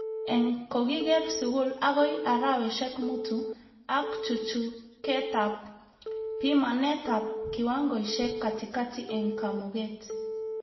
Eng-kokiker skul akoi araweshek mutu ak chuchuketab pimanetab kiwangoishek katikati eng kamuget